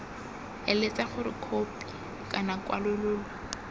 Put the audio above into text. eletsa gore khopi kana kwalololo